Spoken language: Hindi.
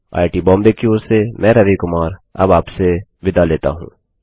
आईआईटी बॉम्बे की ओर से मैं रवि कुमार अब आपसे विदा लेता हूँ